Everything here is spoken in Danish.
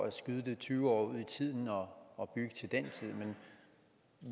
at skyde det tyve år ud i tiden og og bygge til den tid